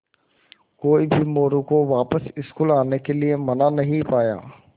कोई भी मोरू को वापस स्कूल आने के लिये मना नहीं पाया